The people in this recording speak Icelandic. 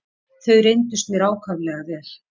Þau reyndust mér ákaflega vel.